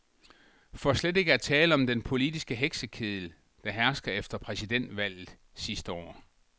For slet ikke at tale om den politiske heksekeddel, der hersker efter præsidentvalget sidste år.